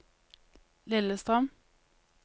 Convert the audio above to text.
Lillestrøm